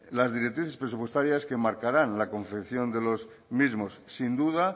las directrices presupuestarias que marcarán la confección de los mismos sin duda